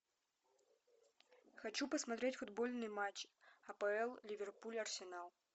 хочу посмотреть футбольный матч апл ливерпуль арсенал